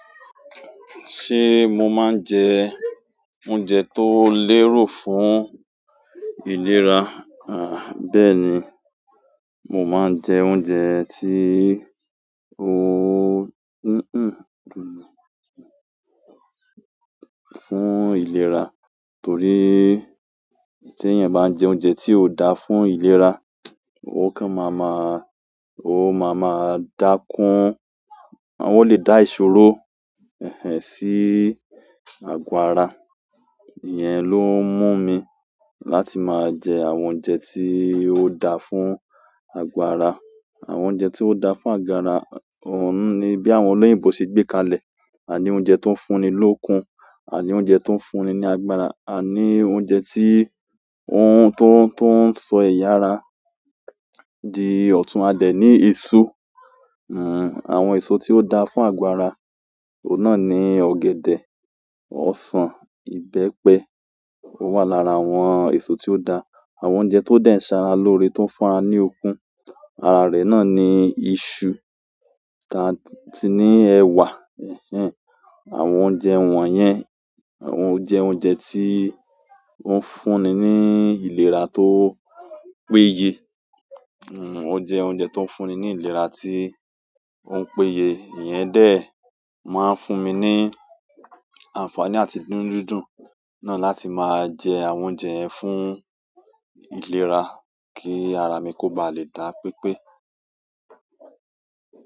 Ṣé mo máa ń jẹ oúnjẹ tó lérò fún ìlera? Àh, bẹ́ẹ̀ ni. Mo máa ń jẹ oúnjẹ tí ó fún ìlera, torí teeyan bá ń jẹ oúnjẹ tí ó daa fún ìlera, ó kan máa maa-- ó máa máa dá kún, ó lè dá ìṣòro sí àgọ́ ara. Ìyẹn ló ń mú mi láti máa jẹ àwọn oúnjẹ tí ó da fún àgọ́ ara. Àwọn oúnjẹ tí ó daa fún àgọ́ ara òún ni bí àwọn olóyìnbo ṣe gbé kalẹ̀. Àní oúnjẹ tó ń fún ni lókun, àní oúnjẹ tó ń fún ni ní agbára, àní oúnjẹ tí o un tó n, tó ń sọ ẹ̀yà ara. Di ọ̀tún a dẹ ní èso, àwọn èso tí ó daa fún àgọ́ ara, òun náà ni ọ̀gẹ̀dẹ̀, ọsàn, ìbẹ́pẹ. Ó wà lára àwọn èso tí ó da. Àwọn oúnjẹ to de n sara loore, to n fún ara ni okun ara re náà ni isu taa si ni ewa. Àwọn oúnjẹ wọ̀nyẹn, ó jẹ oúnjẹ tí ó ń fún ni ní ìlera tó péye. Ó jẹ oúnjẹ tó ń fúnni ní ìlera tí ó ń péye. Ìyẹn dẹ̀ máa ń fún mi ní àǹfààní àti nínú dídùn náà láti máa jẹ àwọn oúnjẹ yẹn fún ìlera kí ara mi kó baa lè dá pepé.